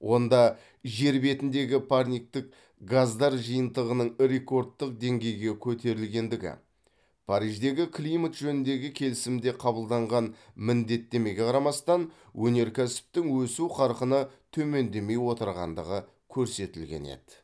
онда жер бетіндегі парниктік газдар жиынтығының рекордтық деңгейге көтерілгендігі париждегі климат жөніндегі келісімде қабылданған міндеттемеге қарамастан өнеркәсіптің өсу қарқыны төмендемей отырғандығы көрсетілген еді